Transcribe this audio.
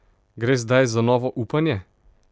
Gre zdaj za novo upanje?